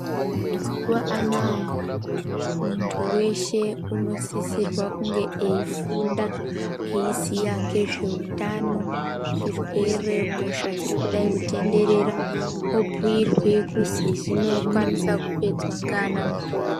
Mazuwa anaya, muntu weshe unosisirwa kunge eyifunda, eyiziya ngezvehutano, zvirwere, hosha dzirikudai kutenderera , obuyirwe kuti zvinokwanisa kupedzwa